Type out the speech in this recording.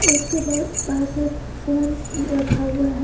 उसके ब पास एक फोन रखा हुआ है।